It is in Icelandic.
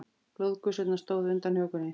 Blóðgusurnar stóðu undan hökunni.